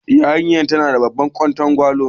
Yarinyar nan tana da babban ƙwatangwalo.